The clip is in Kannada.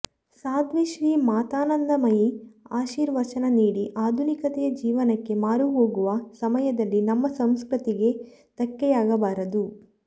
ಸಾಧ್ವಿ ಶ್ರೀ ಮಾತಾನಂದಮಯೀ ಆಶೀರ್ವಚನ ನೀಡಿ ಆಧುನಿಕತೆಯ ಜೀವನಕ್ಕೆ ಮಾರು ಹೋಗುವ ಸಮಯದಲ್ಲಿ ನಮ್ಮ ಸಂಸ್ಕೃತಿಗೆ ದಕ್ಕೆಯಾಗಬಾರದು